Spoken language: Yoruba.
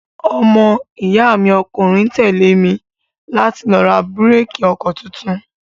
Ọmọ iya mi ọkùnrin tẹ́lé mi láti lọ ra bíréékì ọkọ tuntun.